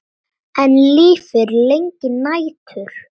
Enn lifir lengi nætur.